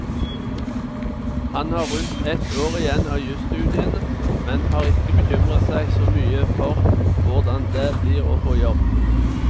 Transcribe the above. Han har rundt ett år igjen av jusstudiene, men har ikke bekymret seg så mye for hvordan det blir å få jobb.